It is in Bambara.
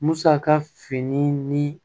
Musaka fini ni